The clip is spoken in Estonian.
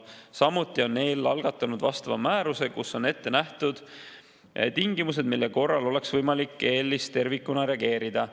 Samuti on EL algatanud määruse, kus on ette nähtud tingimused, mille korral oleks võimalik EL‑is tervikuna reageerida.